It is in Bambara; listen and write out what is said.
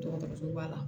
Dɔgɔtɔrɔsoba la